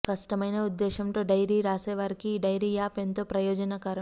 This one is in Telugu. స్పష్టమైన ఉద్దేశంతో డైరీ రాసేవారికి ఈ డైరీ యాప్ ఎంతో ప్రయోజనకరం